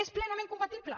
és plenament compatible